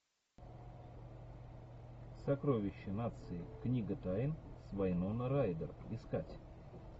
сокровище нации книга тайн с вайноной райдер искать